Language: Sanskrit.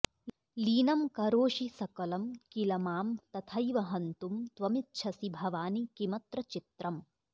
लीनं करोषि सकलं किल मां तथैव हन्तुं त्वमिच्छसि भवानि किमत्र चित्रम्